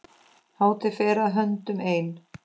Hátíð fer að höndum ein.